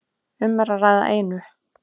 Um er að ræða einu